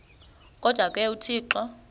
kodwa ke uthixo